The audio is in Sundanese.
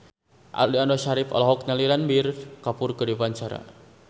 Aliando Syarif olohok ningali Ranbir Kapoor keur diwawancara